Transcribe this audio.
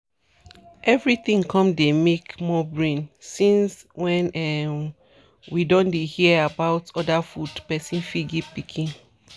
everything con dey make more brain since when um we don dey hear about other food person fit give pikin.